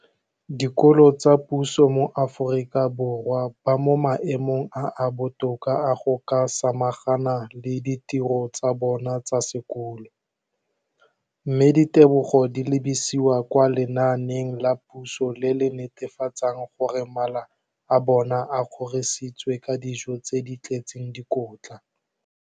Dikolo tsa puso mo Aforika Borwa ba mo maemong a a botoka a go ka samagana le ditiro tsa bona tsa sekolo, mme ditebogo di lebisiwa kwa lenaaneng la puso le le netefatsang gore mala a bona a kgorisitswe ka dijo tse di tletseng dikotla.